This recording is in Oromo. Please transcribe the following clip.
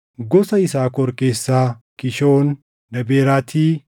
gosa Yisaakor keessaa Kishoon, Daaberaati,